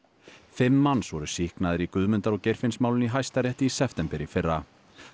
fimm manns voru sýknaðir í Guðmundar og Geirfinnsmálinu í Hæstarétti í september í fyrra